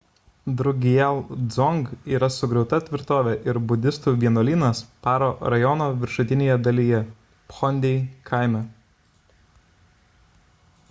drukgyal dzong yra sugriauta tvirtovė ir budistų vienuolynas paro rajono viršutinėje dalyje phondey kaime